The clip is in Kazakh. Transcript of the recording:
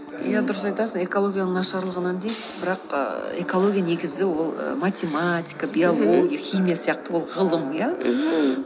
иә дұрыс айтасын экологияның нашарланғынынан дейді бірақ ііі экология негізі ол математика биология химия сияқты ол ғылым иә мхм